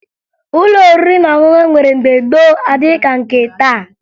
Ụlọ oriri na ọṅụṅụ e nwere mgbe gboo adịghị ka nke taa